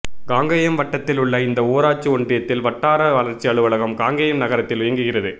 காங்கேயம் வட்டத்தில் உள்ள இந்த ஊராட்சி ஒன்றியத்தின் வட்டார வளர்ச்சி அலுவலகம் காங்கேயம் நகரத்தில் இயங்குகிறது